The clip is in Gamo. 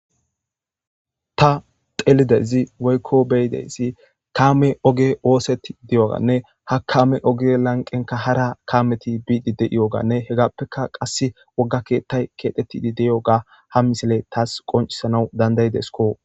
ta xeelizayssi woykko beyideyssi kaame oge ooseti diyoganne ha kaame oge lanqenka hara kaameti biidi de7iyoganne hegappeka qass wogga keettay keexetidi deyoga ha misile taas qoncisana dandayidesko.